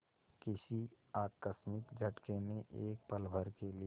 किसी आकस्मिक झटके ने एक पलभर के लिए